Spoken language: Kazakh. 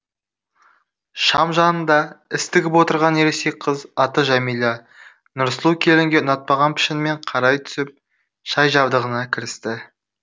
шам жанында іс тігіп отырған ересек қыз аты жәмила нұрсұлу келінге ұнатпаған пішінмен қарай түсіп шай жабдығына кірісті